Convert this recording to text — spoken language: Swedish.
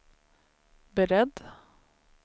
beredd